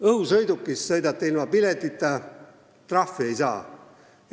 Õhusõidukis sõidate ilma piletita, aga trahvi ei saa.